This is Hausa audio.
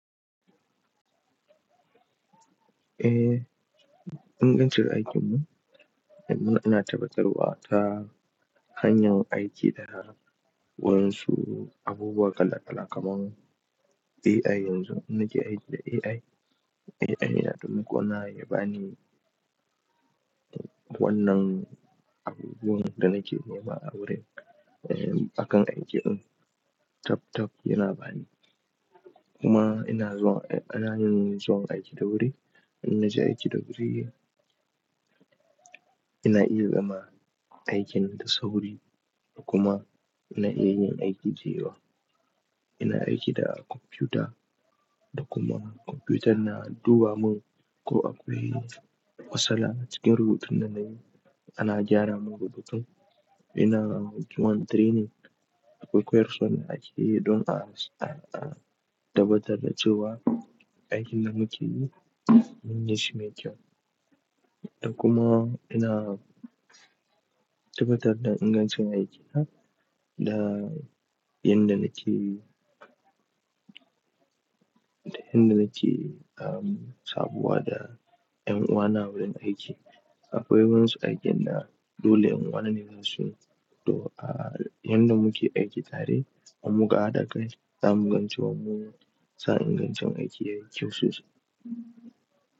Eh, ingancin aikinmu, yanzu ina tabbatarwa ta hanyar aiki da wasu abubuwa kala kala kamar AI. Yanzu ni ke aiki da AI. AI na taimako na ya bani wannan abubuwan da nake nema a wurin, eh, bakan aikin. Tab tab yana bani. Kuma ina zuwan, ana yin zuwan aiki da wuri. In naje aiki da wuri, ina iya gama aikin da sauri da kuma na iya yin aiki da yawa. Ina aiki da kwamfuta da kuma kwamfutar na duba mun ko akwai matsala a cikin rubutun da nayi, ana gyara mun rubutun. Ina zuwan training akwai koyaswa a aiki don a, a tabbatar da cewa aikin da muke yi, mun gishci mai kyau. Da kuma ina tabbatar da ingancin aikina da yadda nake, da yadda nake, um, sabuwa da 'yan uwa na wurin aiki. Akwai wasu aikin da dole in nawa nesa su. To, a, yadda muke aiki tare, in muka hadakai, za mu gan cewa, za mu san ingancin aikin mu sosai.